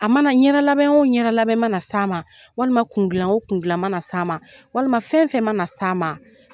A mana ɲɛda lamɛn o ɲɛda labɛn mana sa ma walima kun glan o kun glan mana s'a ma walima fɛn fɛn mana sa ma.